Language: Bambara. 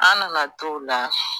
An nana t'o la